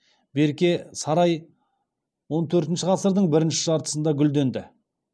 берке сарай он төртінші ғасырдың бірінші жартысында гүлденді